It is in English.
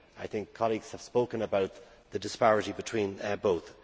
I think colleagues have spoken about the disparity between both.